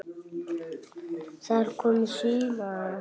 Það er komið sumar.